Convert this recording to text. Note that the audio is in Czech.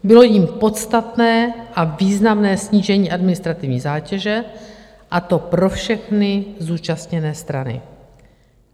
Bylo jím podstatné a významné snížení administrativní zátěže, a to pro všechny zúčastněné strany.